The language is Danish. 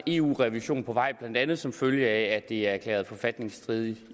eu revision på vej blandt andet som følge af at det er erklæret forfatningsstridigt